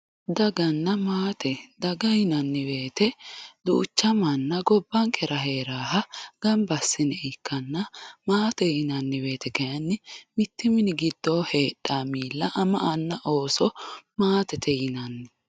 Dagana maate, daga yinanni woyte duucha manna gobbankera heeranoha gamba assinoniha ikkanna maate yinanni woyte mitu mini giddonu heedhano miilla ama anna ooso maatete yinanni.